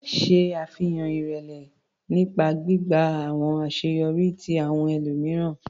Ṣe afihan irẹlẹ nipa gbigba awọn aṣeyọri ti awọn ẹlomiran.